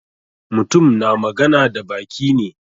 Mutum na magana da baki ne.